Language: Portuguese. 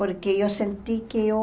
Porque eu senti que eu